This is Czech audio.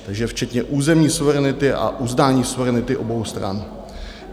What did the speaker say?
Takže včetně územní suverenity a uznání suverenity obou stran.